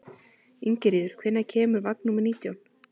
Ingiríður, hvenær kemur vagn númer nítján?